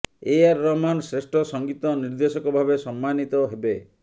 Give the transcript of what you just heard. ଏ ଆର୍ ରହମାନ୍ ଶ୍ରେଷ୍ଠ ସଙ୍ଗୀତ ନିର୍ଦ୍ଦେଶକଭାବେ ସମ୍ମାନିତ ହେବେ